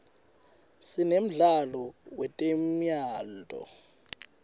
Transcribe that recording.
sinemdlalo wetemyalto